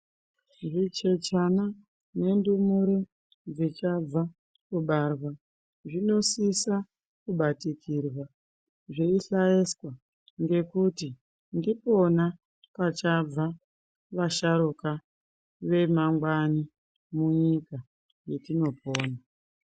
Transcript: Zvichechana nendumure dzechabva kubarwa zvinosisa kubatikirwa zveyisayeswa ngekuti ndipona kachabva vasharukwa vemangwani munyika yetinopona.